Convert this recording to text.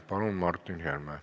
Palun, Martin Helme!